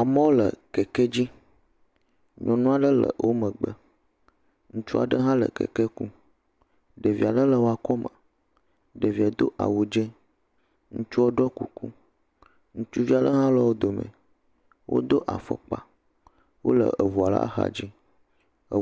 Amewo le keke dzi nyɔnu aɖe le womegbe, ŋutsu aɖe ha le keke kum ɖevi aɖe le eƒe akɔme, ɖevia do awu dzĩ, ŋutsu ɖɔ kuku, ŋutsuvi aɖe ha le wodome wodo afɔkpa, wole ʋua ƒe axadzi,